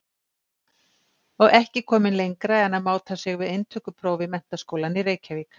Og ekki kominn lengra en að máta sig við inntökupróf í Menntaskólann í Reykjavík!